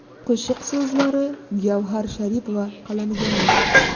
Qo‘shiq so‘zlari Gavhar Sharipova qalamiga mansub.